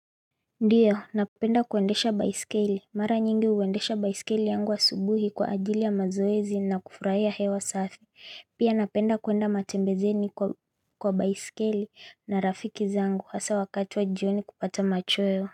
Ndiyo napenda kuendesha baisikeli mara nyingi huendesha baisikeli yangu asubuhi kwa ajili ya mazoezi na kufurahia hewa safi pia napenda kuenda matembezeni kwa baisikeli na rafiki zangu hasaa wakati wa jioni kupata machoyo.